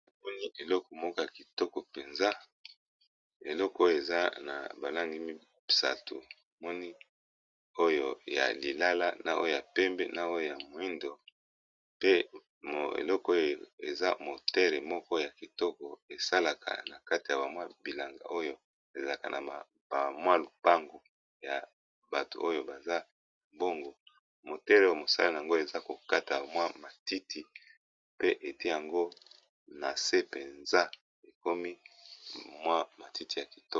omoni eleko moko ya kitoko mpenza eleko oyo eza na balangi mibsato moni oyo ya lilala na oyo ya pembe na oyo ya moindo pe eleko oyo eza motere moko ya kitoko esalaka na kati ya bamwa bilanga oyo ezalaka na bamwa lupangu ya bato oyo baza mbongo motere oyo mosala na yango eza kokata mwa matiti pe ete yango na se mpenza ekomi mwa matiti ya kitoko